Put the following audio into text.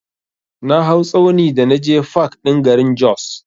Na hau tsauni da naje fak ɗin garin Jos.